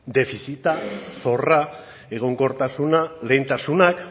defizita zorra egonkortasuna lehentasunak